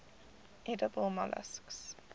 edible molluscs